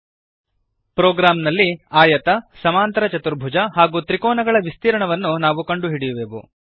ಈ ಪ್ರೊಗ್ರಾಂನಲ್ಲಿ ಆಯತ ಸಮಾಂತರ ಚತುರ್ಭುಜ ಹಾಗೂ ತ್ರಿಕೋನಗಳ ವಿಸ್ತೀರ್ಣವನ್ನು ನಾವು ಕಂಡುಹಿಡಿಯುವೆವು